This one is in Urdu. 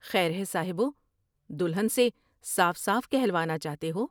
خیر ہے صاحبو ، دلہن سے صاف صاف کہلوانا چاہتے ہو ۔